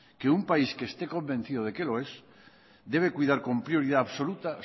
que un país que esté convencido de que lo es debe cuidar con prioridad absoluta